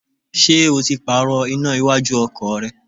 Ṣé o ti Pààrọ̀ iná iwájú ọkọ̀ rẹ?